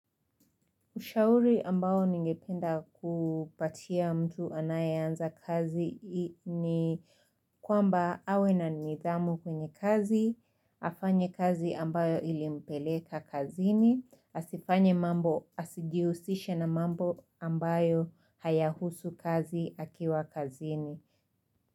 Ushauri ambayo ningependa kupatia mtu anayeanza kazi ni kwamba awe na nidhamu kwenye kazi, afanye kazi ambayo ilimpeleka kazini, asifanye mambo asijiusishe na mambo ambayo hayahusu kazi akiwa kazini.